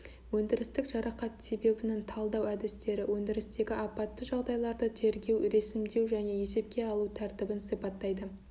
өндірістік жарақат себебінің талдау әдістері өндірістегі апатты жағдайларды тергеу ресімдеу және есепке алу тәртібін сипаттайды